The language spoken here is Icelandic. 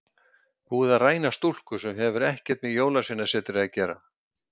Búið að ræna stúlku sem hefur ekkert með Jólasveinasetrið að gera.